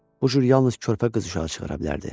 Bu cür yalnız körpə qız uşağı çıxara bilərdi.